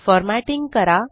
formatting करा